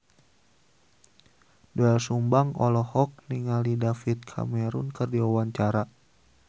Doel Sumbang olohok ningali David Cameron keur diwawancara